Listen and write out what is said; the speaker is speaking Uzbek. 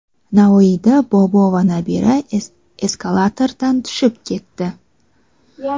Navoiyda bobo va nabira eskalatordan tushib ketdi.